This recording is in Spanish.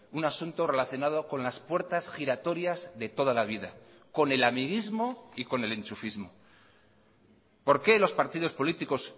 un asunto relacionado con las puertas giratorias de toda la vida con el amiguismo y con el enchufismo por qué los partidos políticos